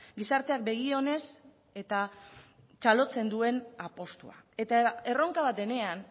gizarteak begi onez eta txalotzen duen apustua eta erronka bat denean